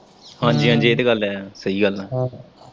ਹਾਂਜੀ-ਹਾਂਜੀ ਏ ਤੇ ਗੱਲ ਹੈ ਸਹੀ ਗੱਲ ਏ।